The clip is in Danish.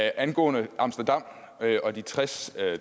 angående amsterdam og de tres